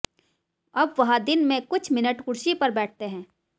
अब वह दिन में कुछ मिनट कुर्सी पर बैठते हैं